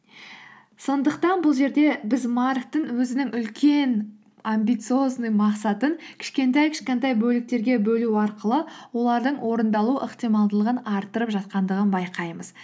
сондықтан бұл жерде біз марктің өзінің үлкен амбициозный мақсатын кішкентай кішкентай бөліктерге бөлу арқылы олардың орындалу ықтималдылығын арттырып жатқандығын байқаймыз